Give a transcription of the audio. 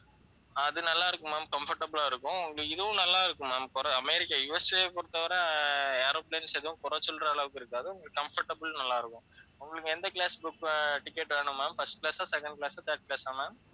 அது நல்லா இருக்கும் ma'amcomfortable ஆ இருக்கும் உங்களுக்கு இதுவும் நல்லா இருக்கும் ma'am குறை~ அமெரிக்கா USA பொறுத்தவரை aeroplanes எதுவும் குறை சொல்ற அளவுக்கு இருக்காது comfortable நல்லா இருக்கும், உங்களுக்கு எந்த class book ஆஹ் ticket வேணும் ma'amfirst class ஆ second class ஆ third class ஆ ma'am